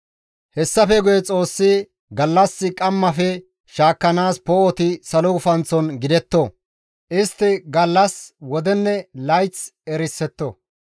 Hessafe guye Xoossi, «Gallas qammafe shaakkanaas poo7oti salo gufanththon gidetto; istti gallas, wodenne layth erisetto;